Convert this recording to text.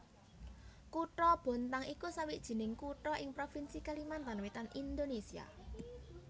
Kutha Bontang iku sawijining kutha ing provinsi Kalimantan Wétan Indonésia